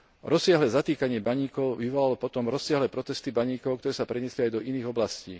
Rozsiahle zatýkanie baníkov vyvolalo potom rozsiahle protesty baníkov, ktoré sa preniesli aj do iných oblastí.